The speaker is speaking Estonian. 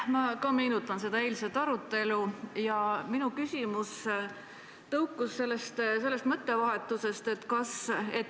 Ma ka meenutan eilsest arutelu ja minu küsimus on ajendatud toimunud mõttevahetusest.